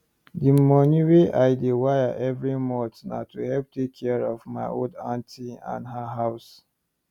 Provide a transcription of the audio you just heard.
the money wey i dey wire every month na to help take care of my old auntie and her house